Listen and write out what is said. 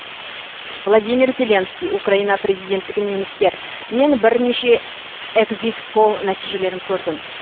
владимир зеленский украина президенттігіне үміткер мен бірнеше экзит пол нәтижелерін көрдім